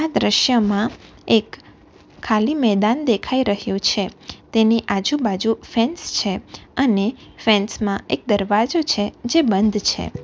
દ્રશ્યમાં એક ખાલી મેદાન દેખાઈ રહ્યો છે તેની આજુબાજુ ફેન્સ છે અને ફેન્સ માં એક દરવાજો છે જે બંધ છે.